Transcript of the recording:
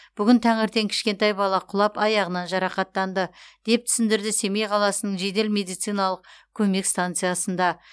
бүгін таңертең кішкентай бала құлап аяғынан жарақаттанды деп түсіндірді семей қаласының жедел медициналық көмек станциясында